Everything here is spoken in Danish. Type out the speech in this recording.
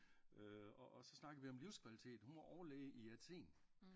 Og så snakkede vi om livskvalitet hun var overlæge i Athen